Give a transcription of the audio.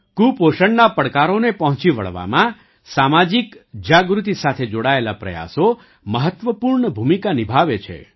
કુપોષણના પડકારોને પહોંચી વળવામાં સામાજિક જાગૃતિ સાથે જોડાયેલા પ્રયાસો મહત્વપૂર્ણ ભૂમિકા નિભાવે છે